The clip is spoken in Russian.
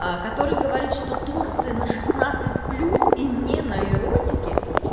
аа который говорит что торсы на шестнадцать плюс и не на эротике